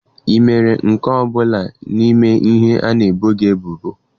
Ị mere nke ọ bụla n'ime ihe ị na-ebo ebubo?